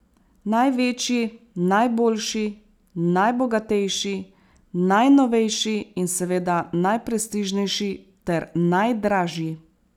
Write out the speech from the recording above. Največji, najboljši, najbogatejši, najnovejši in seveda najprestižnejši ter najdražji.